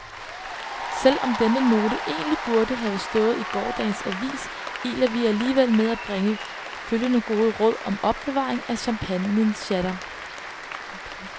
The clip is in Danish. Selv om denne note egentlig burde have stået i gårsdagens avis, iler vi alligevel med at bringe følgende gode råd om opbevaring af champagnesjatter.